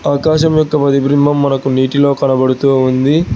ఆకాశం యొక్క ప్రతిభిభం మనకు నీటిలో కనబడుతూ ఉంది.